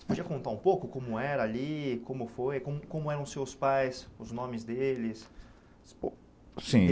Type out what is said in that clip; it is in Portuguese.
Você podia contar um pouco como era ali, como foi, como como eram os seus pais, os nomes deles? Sim